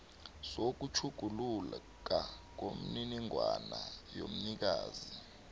sokutjhuguluka kwemininingwana yomnikazi